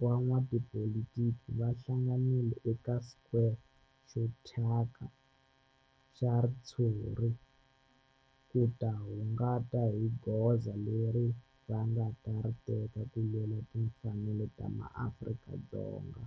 van'watipolitiki va hlanganile eka square xo thyaka xa ritshuri ku ta kunguhata hi goza leri va nga ta ri teka ku lwela timfanelo ta maAfrika-Dzonga.